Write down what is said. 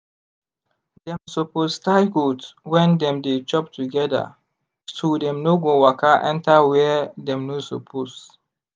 dem suppose tie goat when dem dey chop together so dem no go waka enter where dem no suppose.